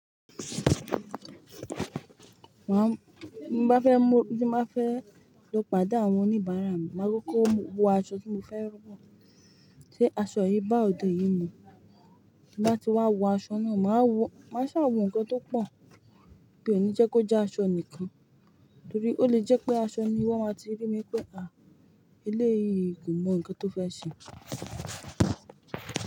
Máa, bí mo bá fẹ́ mú- tí mo bá fẹ́ lọ pàdé àwọn oníbàárà mi, máa kọkọ wo aṣọ tí mo fẹ́ wọ. Sé aṣọ yìí bá òde yìí mu? Bí mo bá ti wá wo aṣọ náà, màá wọ- màá ṣà wọ nǹkan tó pọ̀, mí ò ní jẹ́ kó jẹ́ aṣọ nìkan, torí ó lè jẹ́ pé aṣọ ni wọ́n máa ti rí mí pé, hà, eleéyìí kò mọ nǹkan tó fẹ́ ṣe.